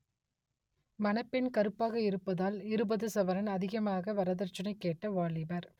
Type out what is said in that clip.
மணப்பெண் கருப்பாக இருப்பதால் இருபது சவரன் அதிகமாக வரதட்சனை கேட்ட வாலிபர்